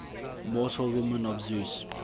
mortal women of zeus